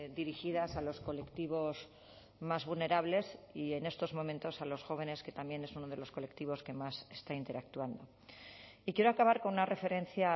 dirigidas a los colectivos más vulnerables y en estos momentos a los jóvenes que también es uno de los colectivos que más está interactuando y quiero acabar con una referencia